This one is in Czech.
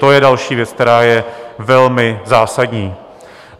To je další věc, která je velmi zásadní.